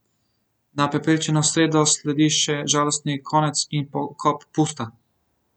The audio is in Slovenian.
Na pepelnično sredo sledi še žalostni konec in pokop Pusta.